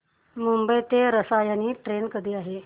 मुंबई ते रसायनी ट्रेन कधी आहे